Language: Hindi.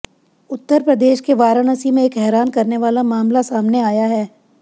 उत्तर प्रदेश के वाराणसी में एक हैरान करने वाला मामला सामने आया है